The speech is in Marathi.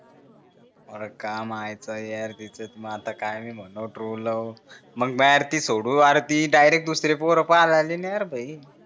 आर काय मायचा यार तिच्यात मी आता काय मी म्हणू ट्रू लव्ह मग म्याड ती सोडू आर ती डायरेक्ट दुसरे पोर पाहा लागली ना यार भाई